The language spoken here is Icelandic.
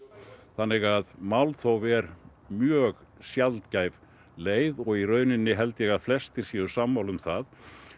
þannig að málþóf er mjög sjaldgæf leið og í rauninni held ég að flestir séu sammála um það